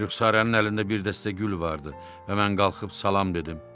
Rüxsarənin əlində bir dəstə gül vardı və mən qalxıb salam dedim.